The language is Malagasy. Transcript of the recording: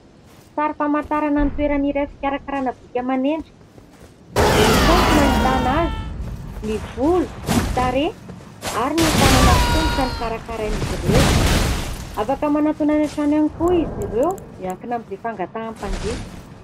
Sary famantarana ny toerana iray fikarakarana bika aman'endrika. Eny Itaosy no ahitana azy. Ny volo, ny tarehy ary ny tanana sy tongotra no karakarain'izy ireo. Afaka manatona any an-trano ihany koa izy ireo, miankina amin'izay fangatahan'nympanjifa.